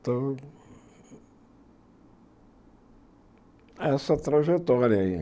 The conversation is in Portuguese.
Então, essa trajetória aí.